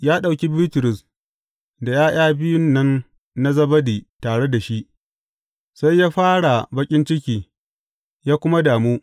Ya ɗauki Bitrus da ’ya’ya biyun nan na Zebedi tare da shi, sai ya fara baƙin ciki, ya kuma damu.